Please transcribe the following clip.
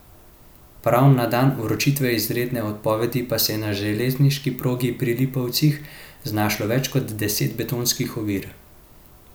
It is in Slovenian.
Prav na dan vročitve izredne odpovedi pa se je na železniški progi pri Lipovcih znašlo več kot deset betonskih ovir.